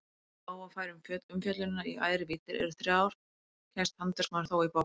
Ef á að færa umfjöllunina í æðri víddir en þrjár kemst handverksmaðurinn þó í bobba.